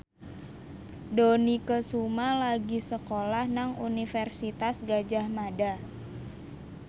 Dony Kesuma lagi sekolah nang Universitas Gadjah Mada